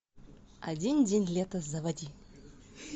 один день лета заводи